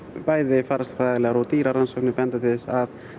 bæði faraldslegar og dýrarannsóknir benda til þess að